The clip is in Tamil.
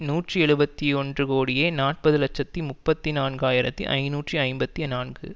நூற்றி எழுபத்து ஒன்று கோடியே நாற்பது இலட்சத்தி முப்பத்தி நான்கு ஆயிரத்தி ஐநூற்று ஐம்பத்தி நான்கு